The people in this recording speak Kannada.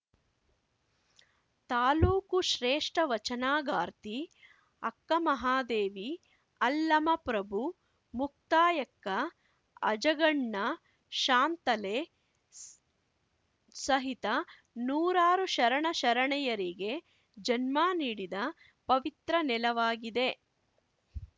ತಾಲೂಕು ಶ್ರೇಷ್ಟವಚನಗಾರ್ತಿ ಅಕ್ಕಮಹಾದೇವಿ ಅಲ್ಲಮಪ್ರಭು ಮುಕ್ತಾಯಕ್ಕ ಅಜಗಣ್ಣ ಶಾಂತಲೆ ಸ್ ಸಹಿತ ನೂರಾರು ಶರಣ ಶರಣೆಯರಿಗೆ ಜನ್ಮ ನೀಡಿದ ಪವಿತ್ರ ನೆಲವಾಗಿದೆ